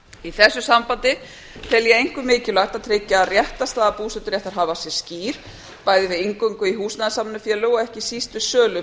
í þessu sambandi tel ég einkum mikilvægt að tryggja að réttarstaða búseturéttarhafa sé skýr bæði við inngöngu í húsnæðissamvinnufélög og ekki síst við sölu